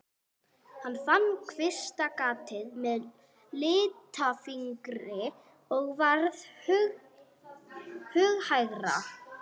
Hann fann kvistgatið með litlafingri og varð hughægra.